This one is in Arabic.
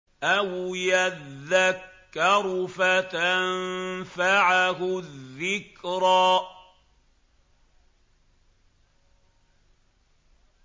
أَوْ يَذَّكَّرُ فَتَنفَعَهُ الذِّكْرَىٰ